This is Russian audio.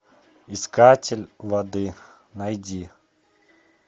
искатель воды найди